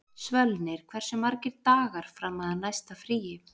Svölnir, hversu margir dagar fram að næsta fríi?